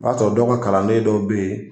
I b'a sɔrɔ dɔ ka kalannen dɔw bɛ ye